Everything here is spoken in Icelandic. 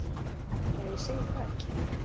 Ja ég segi það ekki.